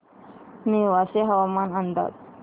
नेवासे हवामान अंदाज